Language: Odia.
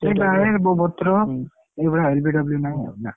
ସେଇ ଏଇ ଭଳିଆ LBW ନାହିଁ ଆଉ ନା।